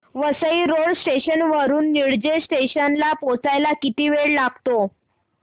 Vasai road station वरून Nilje station ला पोहचायला किती वेळ लागतो